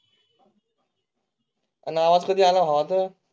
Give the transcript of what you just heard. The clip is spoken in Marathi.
आवाज कधी आला होता?